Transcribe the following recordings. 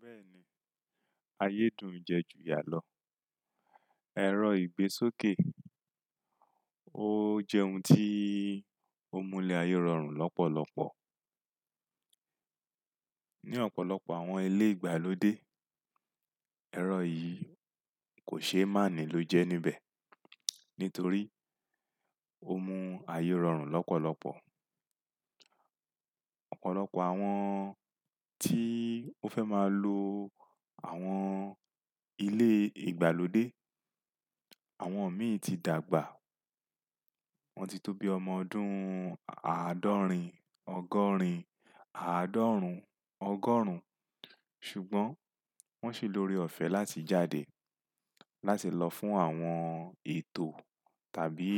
Bẹ́ẹ̀ni, ayédùn ń jẹ ju yà lọ. Ẹ̀rọ ìgbésókè ó jẹ́ ohun tí ó mú ilẹ̀ ayé rọrùn lọ́pọ̀lọpọ̀. Ní ọ̀pọ̀lọpọ̀ àwọn ilé ìgbàlódé, ẹ̀rọ yìí kò ṣe máàní ló jẹ́ níbẹ̀, nítorí ó mú ayé rọrùn lọ́pọ̀lọpọ̀. Ọ̀pọ̀lọpọ̀ àwọn tí ó fẹ́ máa lo àwọn ilé ìgbàlódé, àwọn mi ti dàgbà, wọ́n ti tóbi ọmọ ọdún àádọ́rin ọgọ́rin, àádọ́rùn-ún ọgọ́rùn-ún ṣùgbọ́n wọ́n ṣì lórí ọ̀fẹ́ láti jáde, láti lọ fún àwọn ètò tàbí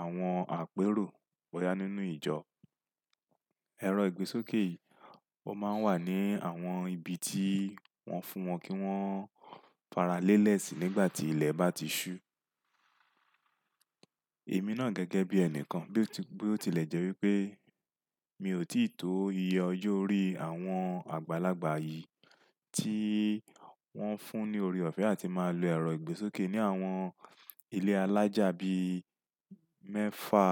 àwọn àpérò bọ́ya nínú ìjọ. Ẹ̀rọ ìgbésókè yìí ó máa ń wà ní àwọn ibi tí wọ́n fún wọn kí wọ́n fara lélẹ̀ sí nígbà tí ilẹ̀ bá ti ṣú. Èmi náà gẹ́gẹ́ bí ẹni kan, bí ó tilẹ̀ jẹ́ wí pé mi ò tí ì tó iye ojo orí àwọn àgbàlagbà yìí tí wọ́n fún ní ọrẹ́ ọ̀fẹ́ àti máa lo ẹ̀rọ ìgbésókè ní àwọn ilé alájà bí mẹ́fà,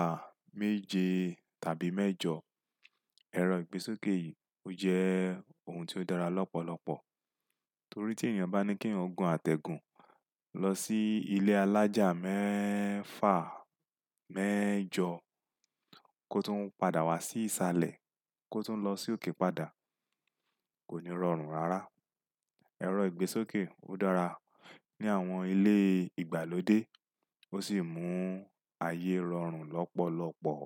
méje tàbí mẹ́jọ. Ẹ̀rọ ìgbésókè yìí ó jẹ́ ohun tí ó dára lọ́pọ̀lọpọ̀, torí tèeyàn bá ní keeyan o gun àtẹ̀gùn lọ sí ilé alájà mẹ́fà, mẹ́jọ kó tún padà wá sí ìsàlẹ̀ kó tún lọ si ókè padà kò ní rọrùn rárá. Ẹ̀rọ ìgbésókè ó dára ní àwọn ilé ìgbàlódé, ó sì mú ayé rọrùn lọ́pọ̀lọpọ̀.